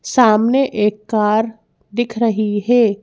सामने एक कार दिख रही है।